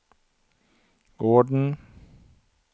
gården